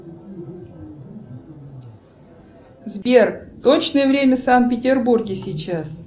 сбер точное время в санкт петербурге сейчас